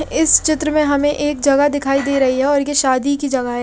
इस चित्र में हमे एक जगह दिखाई दे रही है और ये शादी की जगह है।